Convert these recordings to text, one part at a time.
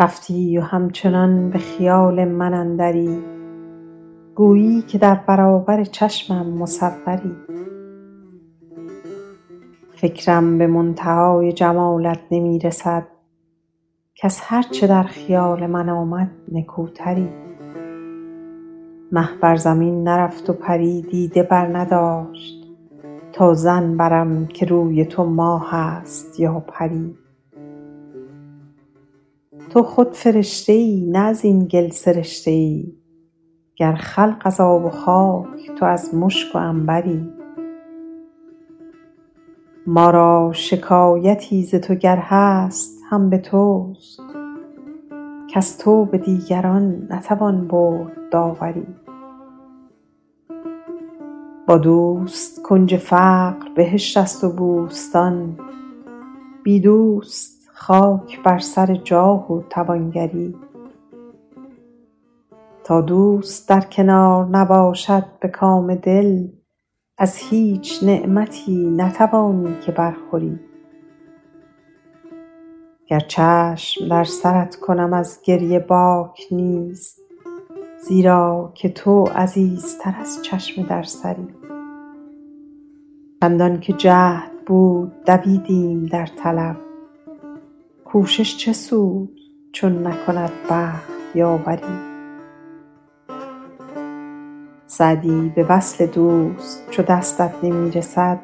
رفتی و همچنان به خیال من اندری گویی که در برابر چشمم مصوری فکرم به منتهای جمالت نمی رسد کز هر چه در خیال من آمد نکوتری مه بر زمین نرفت و پری دیده برنداشت تا ظن برم که روی تو ماه است یا پری تو خود فرشته ای نه از این گل سرشته ای گر خلق از آب و خاک تو از مشک و عنبری ما را شکایتی ز تو گر هست هم به توست کز تو به دیگران نتوان برد داوری با دوست کنج فقر بهشت است و بوستان بی دوست خاک بر سر جاه و توانگری تا دوست در کنار نباشد به کام دل از هیچ نعمتی نتوانی که برخوری گر چشم در سرت کنم از گریه باک نیست زیرا که تو عزیزتر از چشم در سری چندان که جهد بود دویدیم در طلب کوشش چه سود چون نکند بخت یاوری سعدی به وصل دوست چو دستت نمی رسد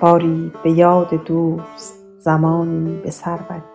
باری به یاد دوست زمانی به سر بری